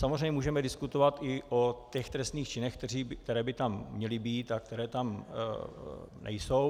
Samozřejmě můžeme diskutovat i o těch trestných činech, které by tam měly být a které tam nejsou.